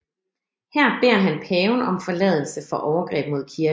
Her beder han paven om forladelse for overgreb mod kirken